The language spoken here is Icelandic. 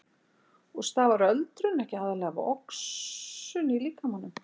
Og stafar öldrun ekki aðallega af oxun í líkamanum?